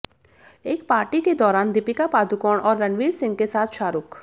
एक पार्टी के दौरान दीपिका पादुकोण और रणवीर सिंह के साथ शाहरूख